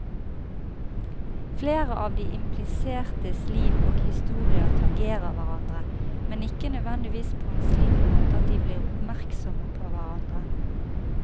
Flere av de implisertes liv og historier tangerer hverandre, men ikke nødvendigvis på en slik måte at de blir oppmerksomme på hverandre.